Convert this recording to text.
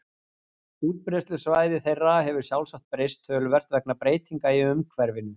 útbreiðslusvæði þeirra hefur sjálfsagt breyst töluvert vegna breytinga í umhverfinu